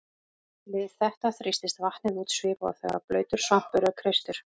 Við þetta þrýstist vatnið út svipað og þegar blautur svampur er kreistur.